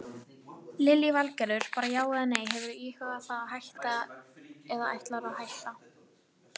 Lillý Valgerður: Bara já eða nei, hefurðu íhugað það að hætta eða ætlarðu að hætta?